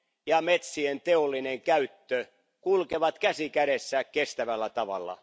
ja metsien teollinen käyttö kulkevat käsi kädessä kestävällä tavalla.